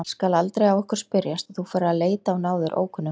Það skal aldrei á okkur spyrjast að þú farir að leita á náðir ókunnugra.